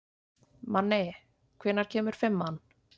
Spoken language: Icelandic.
Manni, hvenær kemur fimman?